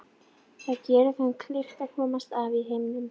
Þetta geri þeim kleift að komast af í heiminum.